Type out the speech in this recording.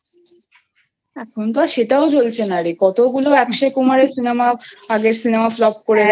এখন তো সেটাও চলছে না রে কতগুলো land:EngAkshay Kumar এর আগের Cinema Flopকরে গেলো হ্যাঁ